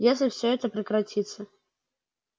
если всё это прекратится